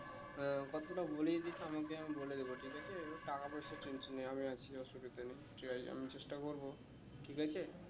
আহ গল্পটা বলেই দিস আমাকে আমি বলে দেব ঠিক আছে টাকা পয়সার tension নেই আমি আছি অসুবিধে নেই ঠিক আছে আমি চেষ্টা করবো ঠিক আছে